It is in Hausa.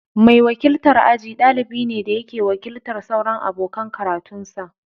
Mai wakiltar aji, dalibi ne da yake wakiltar sauran abokan karatunsa.